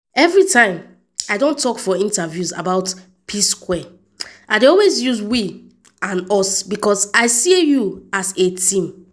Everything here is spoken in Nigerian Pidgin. “every time i don tok for interviews about p-square i dey always use “we” and “us” becos i see us as a team.